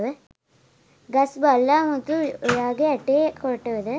ගස් බල්ලා මුතු ඔයාගේ ඇටේ කොටුද?